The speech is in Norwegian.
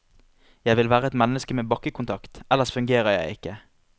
Jeg vil være et menneske med bakkekontakt, ellers fungerer jeg ikke.